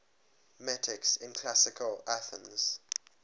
metics in classical athens